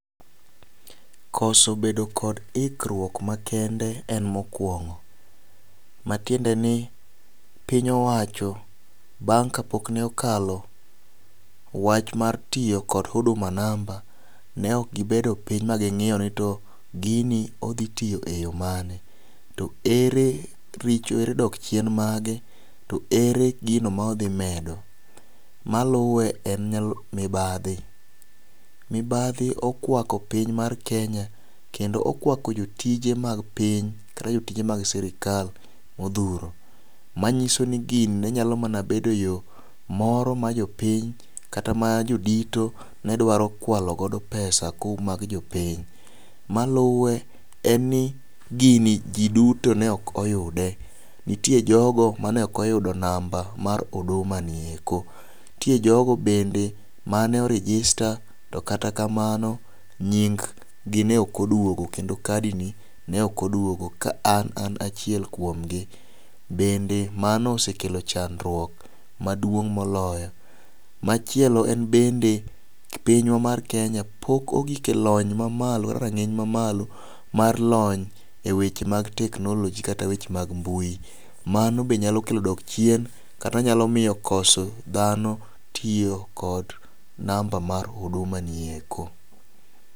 Koso bedo kod ikruok makende en mokwongo matiende ni piny owacho bang ka pok nokalo wach mar tiyo kod huduma namba ne ok gibedo piny ma ging'iyo ni gini odhi tiyo e yo mane. To ere richo ere dok chiem mage to ere gino ma odhi medo. Maluwe en mibadhi mibadhi okwako piny mar kenya kendo okwako jotije mag piny kata jotij e mag sirikal modhuro. Manyiso ni gini ne nyalo mana bede yoo moro ma jopiny kata ma jodito ne dwaro kwalo godo pesa ko mag jopiny maluwe enj ni gini jii duto ne ok oyude nitie jogo mane ok oyudo namba amr oduma ni eko ntie joko mane o register to kata kamano nying gi ne ok oduogo kendo kadi ni ne ok oduogo ka an achiel kuomgi . Bende mano osekelo chandruok maduong' moloyo machielo en bende pinywa mar kenya pok ogik e lony mamalo rang'iny mamalo mar weche mar technology kata weche mag mbui. Mano be nyalo kelo dok chien kata nyalo miyo koso dhano tiyo kod namba mar huduma nieko .